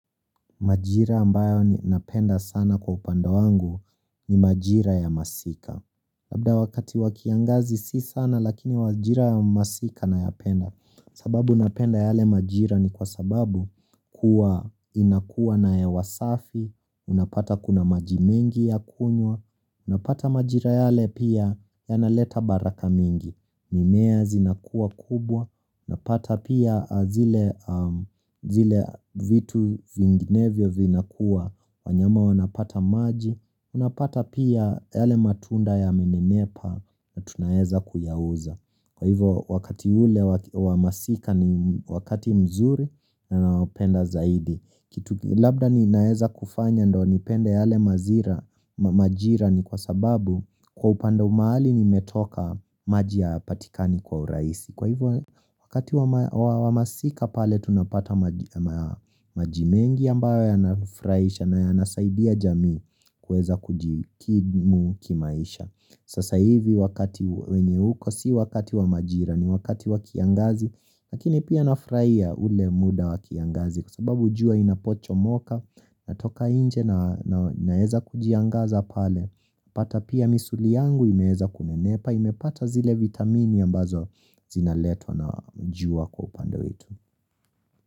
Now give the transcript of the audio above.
Majira ambayo ninapenda sana kwa upande wangu ni majira ya masika Labda wakati wakiangazi si sana lakini majira ya masika nayapenda sababu unapenda yale majira ni kwa sababu kuwa inakuwa na hewa safi Unapata kuna maji mengi ya kunywa Unapata majira yale pia yanaleta baraka mingi mimea zinakuwa kubwa Napata pia zile zile vitu vinginevyo vinakua wanyama wanapata maji Unapata pia yale matunda ya mnenepa na tunaeza kuyauza Kwa hivyo wakati ule wa masika ni wakati mzuri ninaopenda zaidi kitu labda ninaweza kufanya ndiyo nipende yale majira majira ni kwa sababu Kwa upande mahali nimetoka maji hayapatikani kwa urahisi Kwa hivyo wakati wa masika pale tunapata maji mengi ambayo yanafurahisha na yanasaidia jamii kuweza kujikimu kimaisha Sasa hivi wakati wenye uko si wakati wa majira ni wakati wa kiangazi Lakini pia nafurahia ule muda wa kiangazi kwa sababu jua inapochomoka natoka nje na naweza kujiangaza pale pata pia misuli yangu imeweza kunenepa, imepata zile vitamini ambazo zinaletwa na jua kwa upande wetu.